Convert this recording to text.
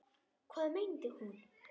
Hvað meinti hún?